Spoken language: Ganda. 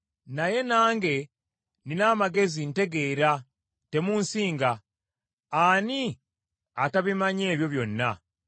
Naye nange nnina amagezi ntegeera, temunsinga. Ani atabimanyi ebyo byonna?